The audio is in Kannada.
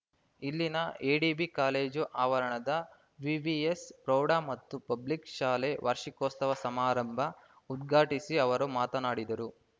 ಇಲ್ಲಿನ ಎಡಿಬಿ ಕಾಲೇಜು ಆವರಣದ ವಿವಿಎಸ್‌ ಪ್ರೌಢ ಮತ್ತು ಪಬ್ಲಿಕ್‌ ಶಾಲೆ ವಾರ್ಷಿಕೋತ್ಸವ ಸಮಾರಂಭ ಉದ್ಘಾಟಿಸಿ ಅವರು ಮಾತನಾಡಿದರು